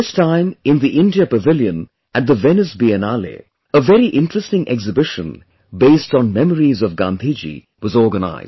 This time, in the India Pavilion at the Venice Biennale', a very interesting exhibition based on memories of Gandhiji was organized